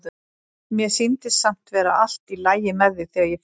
Mér sýndist samt vera allt í lagi með þig þegar ég fór.